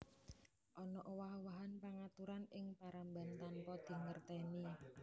Ana owah owahan pangaturan ing paramban tanpa dingertèni